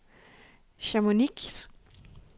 Chamonix